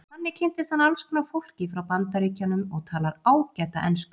Þannig kynntist hann alls konar fólki frá Bandaríkjunum og talar ágæta ensku.